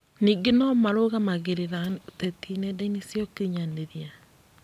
Ningĩ nomarũmagĩrĩra ũteti nendainĩ cia ũkinyanĩria